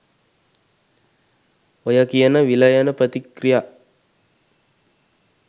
ඔය කියන විලයන ප්‍රතික්‍රියා